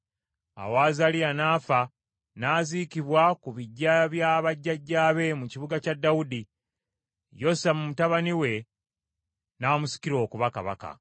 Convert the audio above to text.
Awo Azaliya n’afa, n’aziikibwa ku biggya bya bajjajjaabe mu kibuga kya Dawudi, Yosamu mutabani we n’amusikira okuba kabaka.